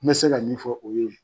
N bɛ se ka min fɔ o y'o ye.